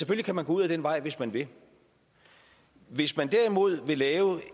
kan man gå ud ad den vej hvis man vil hvis man derimod vil lave